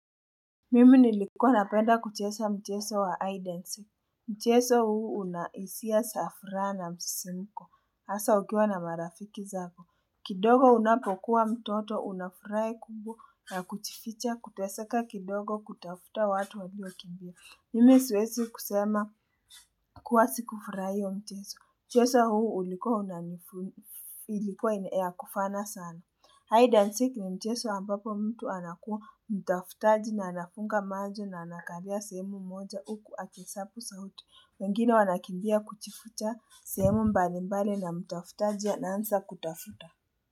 Mimi nilikuwa napenda kucheza mchezo wa hide and seek. Mchezo huu unahisia za furaha na msisimko. Hasa ukiwa na marafiki zako. Kidogo unapokuwa mtoto, unafuraha kubwa ya kujificha, kuteseka kidogo, kutafuta watu walio kimbia. Mimi siwezi kusema kuwa sikufurahia huo mchezo. Mchezo huu ulikuwa ilikuwa ya kufana sana. Hide and see ni mchezo ambapo mtu anakuwa mtafutaji na anafunga macho na anakalia sehemu moja huku akihesabu sauti. Wengine wanakimbia kujificha sehemu mbali mbali na mtafutaji ana anza kutafuta.